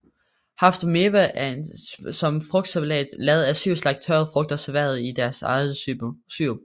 Haft Mewa er som en frugtsalat lavet af syv slags tørrede frugter serveret i deres egen sirup